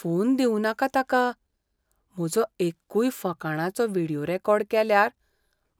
Phone दिवूं नाका ताका. म्हजो एक्कूय फकाणांचो व्हिडियो रेकॉर्ड केल्यार,